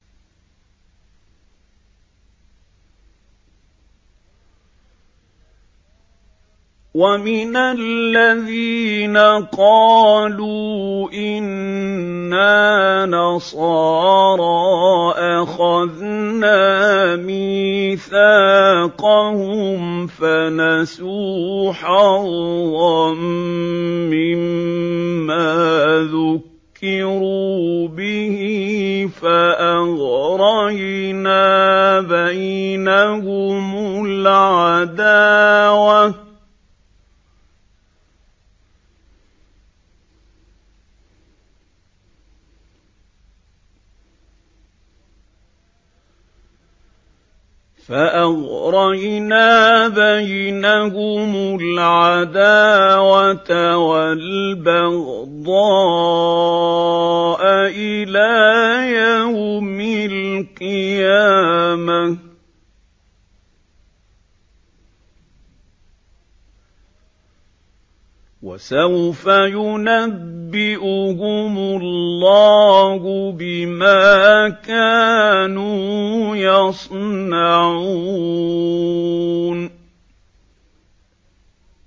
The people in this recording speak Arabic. وَمِنَ الَّذِينَ قَالُوا إِنَّا نَصَارَىٰ أَخَذْنَا مِيثَاقَهُمْ فَنَسُوا حَظًّا مِّمَّا ذُكِّرُوا بِهِ فَأَغْرَيْنَا بَيْنَهُمُ الْعَدَاوَةَ وَالْبَغْضَاءَ إِلَىٰ يَوْمِ الْقِيَامَةِ ۚ وَسَوْفَ يُنَبِّئُهُمُ اللَّهُ بِمَا كَانُوا يَصْنَعُونَ